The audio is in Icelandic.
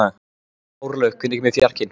Árlaug, hvenær kemur fjarkinn?